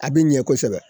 A bɛ ɲɛ kosɛbɛ